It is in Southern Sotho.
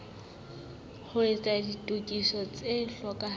ho etsa ditokiso tse hlokahalang